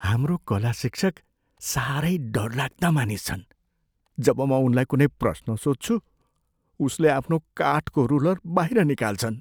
हाम्रो कला शिक्षक साह्रै डरलाग्दा मानिस छन्। जब म उनलाई कुनै प्रश्न सोध्छु, उसले आफ्नो काठको रुलर बाहिर निकाल्छन्।